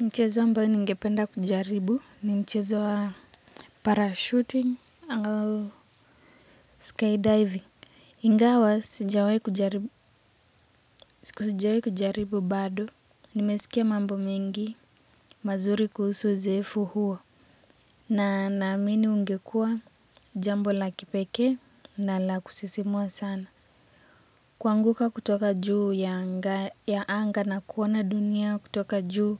Mchezo ambao ningependa kujaribu ni mchezo wa Parachuting au Skydiving. Ingawa sijawahi kujaribu bado nimesikia mambo mengi mazuri kuhusu uzoefu huoa na naamini ungekua jambo la kipekee na la kusisimua sana kuanguka kutoka juu ya anga na kuona dunia kutoka juu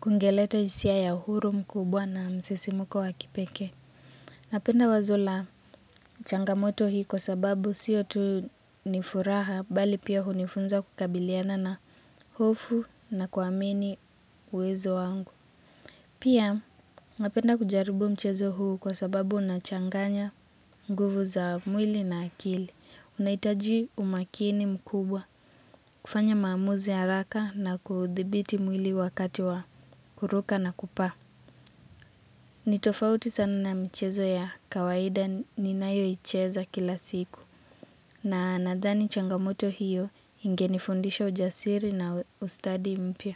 kungeletea hisia ya uhuru mkubwa na msisimko wa kipekee. Napenda wazo la changamoto hii kwa sababu sio tu nifuraha bali pia hunifunza kukabiliana na hofu na kuamini uwezo wangu. Pia napenda kujaribu mchezo huu kwa sababu unachanganya nguvu za mwili na akili. Unahitaji umakini mkubwa kufanya maamuzi ya haraka na kudhibiti mwili wakati wa kuruka na kupaa. Ni tofauti sana na michezo ya kawaida ninayo icheza kila siku na nadhani changamoto hiyo ingenifundisha ujasiri na ustadi mpya.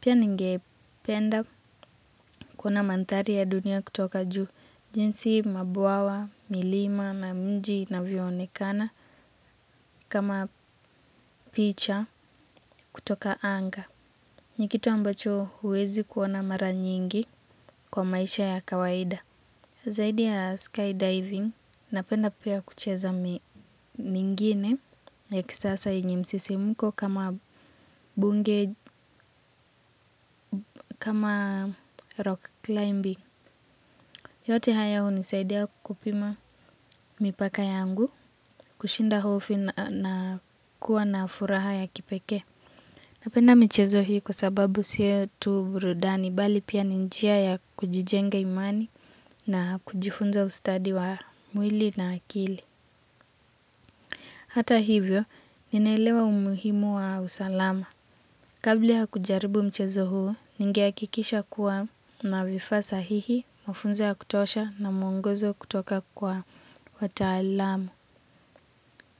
Pia ninge penda kuonamaandari ya dunia kutoka juu, jinsi mabwawa, milima na mji inavyoonekana kama picha kutoka anga. Ni kitu ambacho huwezi kuona mara nyingi kwa maisha ya kawaida. Zaidi ya skydiving, napenda pia kucheza mingine ya kisasa yenye msisimko kama bunge, kama rock climbing. Yote haya hunisaidia kupima mipaka yangu, kushinda hofu na kuwa na furaha ya kipekee. Napenda michezo hii kwasababu sio tu burudani, bali pia ni njia ya kujijenga imani na kujifunza ustadi wa mwili na akili. Hata hivyo, ninaelewa umuhimu wa usalama. Kabla ya kujaribu mchezo huu ningehakikisha kuwa nina vifaa sahihi mafunzo ya kutosha na muongozo kutoka kwa wataalam.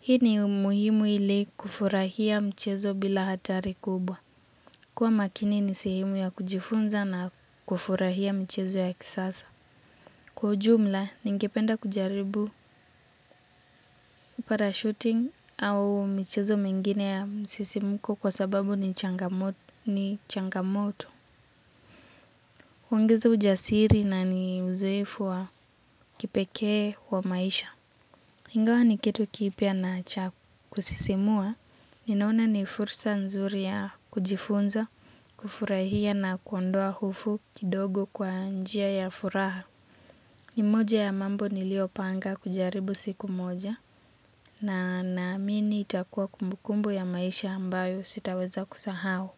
Hii ni umuhimu ili kufurahia mchezo bila hatari kubwa. Kuwa makini ni sehemu ya kujifunza na kufurahia michezo ya kisasa. Kwa ujumla, ningependa kujaribu parachuting au michezo mingine ya msisimuko kwa sababu ni changamoto. Huongeza ujasiri na ni uzoefu wa kipekee wa maisha. Ingawa ni kitu kipya na cha kukusisimua, ninaona ni fursa nzuri ya kujifunza, kufurahia na kuondoa hufo kidogo kwa njia ya furaha. Ni moja ya mambo nilio panga kujaribu siku moja. Na naamini itakuwa kumbukumbu ya maisha ambayo sitaweza kusahau.